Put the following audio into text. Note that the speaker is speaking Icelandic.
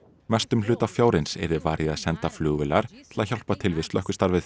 mestum hluta fjárins yrði varið í að senda flugvélar til að hjálpa til við slökkvistarfið